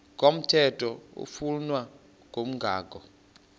komthetho oflunwa ngumgago